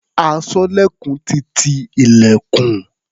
Aṣọ́lẹ̀kùn ti ti ilẹ̀kùn.